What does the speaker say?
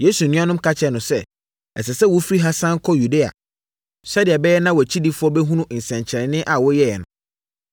Yesu nuanom ka kyerɛɛ no sɛ, “Ɛsɛ sɛ wofiri ha sane kɔ Yudea sɛdeɛ ɛbɛyɛ na wʼakyidifoɔ bɛhunu nsɛnkyerɛnneɛ a woyɛeɛ no.